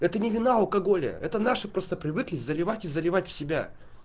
это не вина алкоголя это наши просто привыкли заливать и заливать в себя